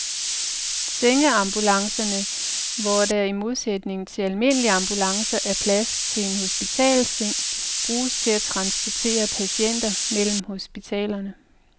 Sengeambulancerne, hvor der i modsætning til almindelige ambulancer er plads til en hospitalsseng, bruges til at transportere patienter mellem hospitalerne.